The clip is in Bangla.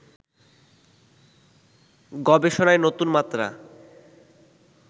গবেষণায় নতুনমাত্রা